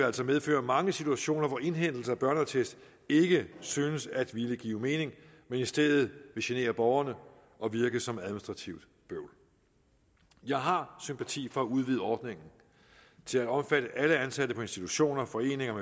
altså medføre mange situationer hvor indhentelse af børneattest ikke synes at ville give mening men i stedet vil genere borgerne og virke som administrativt bøvl jeg har sympati for at udvide ordningen til at omfatte alle ansatte på institutioner foreninger